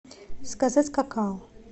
заказать какао